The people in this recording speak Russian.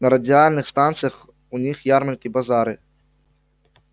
на радиальных станциях у них ярмарки базары